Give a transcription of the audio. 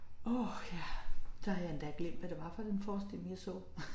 Åh ja så har jeg endda glemt hvad det var for en forestilling jeg så